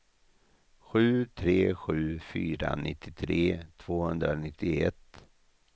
sju tre sju fyra nittiotre tvåhundranittioett